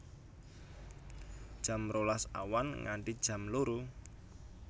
Jam rolas awan nganti jam loro